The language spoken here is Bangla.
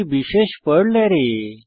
একটি বিশেষ পর্ল অ্যারে